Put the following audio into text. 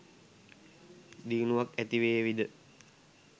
දියුණුවක් ඇතිවේවි ද?